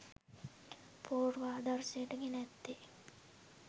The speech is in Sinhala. පූර්වාදර්ශයට ගෙන ඇත්තේ